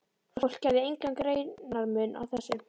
Fólk gerði engan greinarmun á þessu.